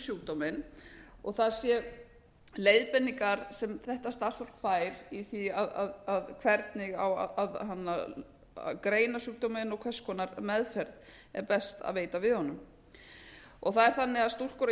sjúkdóminn það séu leiðbeiningar sem þetta starfsfólk fær hvernig á að greina sjúkdóminn og hvers konar meðferð er best að veita við honum það er þannig að stúlkur á